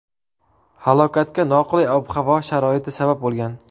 Halokatga noqulay ob-havo sharoiti sabab bo‘lgan.